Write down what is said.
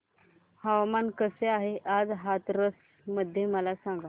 हवामान कसे आहे आज हाथरस मध्ये मला सांगा